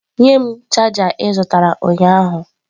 Nye m chaja ị zụtara ụnyahụ.